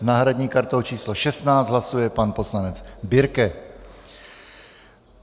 S náhradní kartou číslo 16 hlasuje pane poslanec Birke.